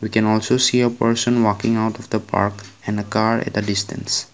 we can also see a person walking out of the park and a car at the distance.